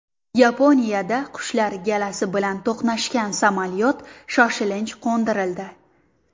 Yaponiyada qushlar galasi bilan to‘qnashgan samolyot shoshilinch qo‘ndirildi.